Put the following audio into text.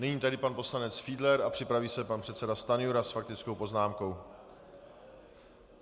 Nyní tedy pan poslanec Fiedler a připraví se pan předseda Stanjura s faktickou poznámkou.